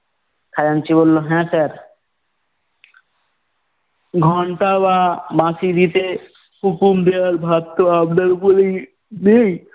খাজাঞ্চি বললো, হ্যাঁ sir । ঘন্টা বা বাঁশি দিতে হুকুম দেওয়ার ভার তো আপনার ওপরেই নেই।